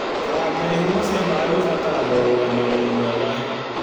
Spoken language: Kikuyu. Kũrangĩra ihumo cia maĩ gũbataraga ũrũgamĩrĩri mwega